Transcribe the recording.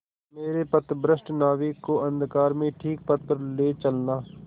मेरे पथभ्रष्ट नाविक को अंधकार में ठीक पथ पर ले चलना